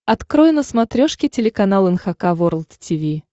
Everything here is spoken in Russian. открой на смотрешке телеканал эн эйч кей волд ти ви